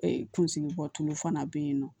Ee kunsigi bɔ tulu fana bɛ yen nɔ